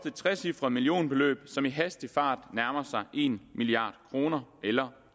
et trecifret millionbeløb som i hastig fart nærmer sig en milliard kroner eller